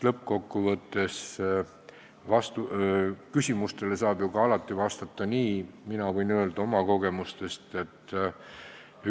Lõppkokkuvõttes saab küsimustele alati vastata ju ka nii, nagu järgmises näites, mille ma toon oma kogemuste põhjal.